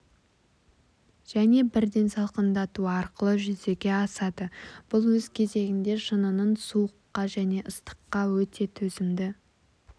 және бірден салқындату арқылы жүзеге асады бұл өз кезегінде шынынын суыққа және ыстыққа өте төзімді